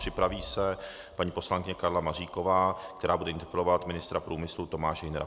Připraví se paní poslankyně Karla Maříková, která bude interpelovat ministra průmyslu Tomáše Hünera.